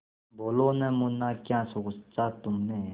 बोलो न मुन्ना क्या सोचा तुमने